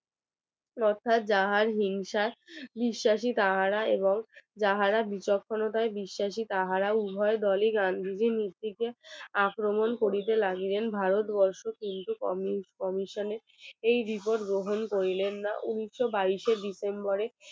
যাহারা বিচক্ষণতায় বিশ্বাসী তাহারা উভয় দলই গান্ধীজীর আক্রমণ করিতে লাগলেন ভারতবর্ষ কিন্তু commossion এই রিপোর্ট গ্রহণ করিলেন না উনিশশো বাইশে ডিসেম্বরে